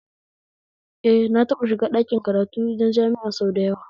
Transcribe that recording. Eh na taɓa shiga ɗakin karatu na jami'a sau dayawa